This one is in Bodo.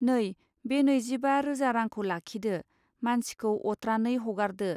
नै बे नैजिबा रोजा रांखौ लाखिदो मानसिखौ अत्रानै हगारदो।